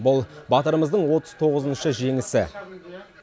бұл батырымыздың отыз тоғызыншы жеңісі